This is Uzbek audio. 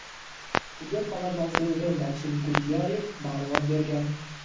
tibbiyot fanlari nomzodi Maksim Gultyayev ma’lumot bergan.